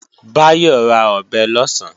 Báyọ̀ ra ọ̀bẹ lọ̀sán